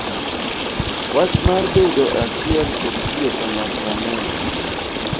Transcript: wach mar bedo achiel kod tiyo kanyakla ne ojiw